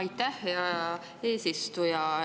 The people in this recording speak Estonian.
Aitäh, hea eesistuja!